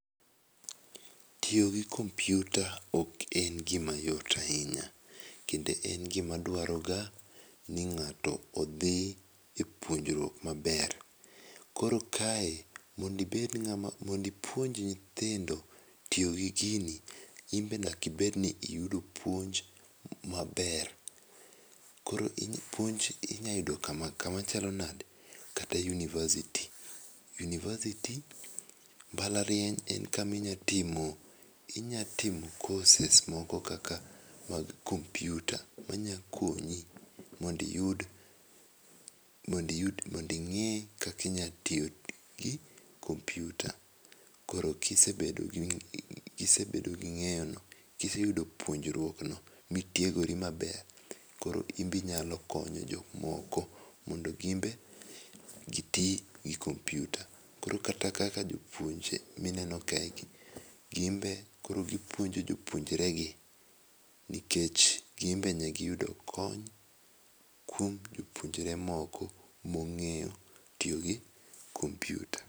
Tiyo go kompiuta ok en gima yot ahinya. Kendo en gima dwaroga ni ng'ato odhi e puonjruok maber. Koro kae, mondibed ng'ama mondo ipuonj nyithindo tiyo gi gini, in be nyaka ibed ni iyudo puonj maber. Koro puonj inyalo yudo kama chalo nade, kata university. University mbalariany en kama inyal timo inya timo courses moko kaka mag kompiuta, manyakonyi mondiyud mondiyud monding'e kaka inyatiyo gi kompiuta. Koro kisebedo gi kise bedo gi ng'eyono, kiseyudo puonjruok no mitiegori maber, koro in be inyalo konyo jok moko mondo gin be giti gi kompiuta. Koro kata mana kaka jopuonj mineno kaegi, gin be koro gipuonjo jopuonjregi nikech gin be ne giyudo kony kuom jopuonjre moko mong'eyo tiyo gi kompiuta.